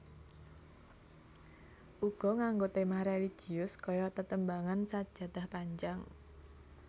Uga nganggo tema religius kaya tetembangan Sajadah Panjang